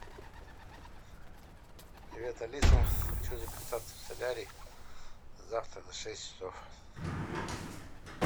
привет алиса хочу записаться в солярий завтра на шесть часов